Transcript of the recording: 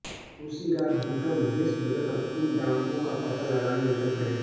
उसी रात विक्रम वेश बदलकर उन डाकुओं का पता लगाने निकल पड़े